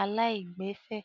aláìgbẹ̀fẹ̀.